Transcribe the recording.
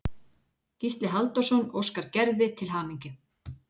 Gísli Halldórsson óskar Gerði til hamingju.